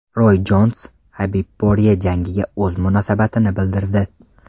Roy Jons HabibPorye jangiga o‘z munosabatini bildirdi.